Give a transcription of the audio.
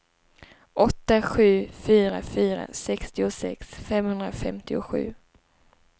åtta sju fyra fyra sextiosex femhundrafemtiosju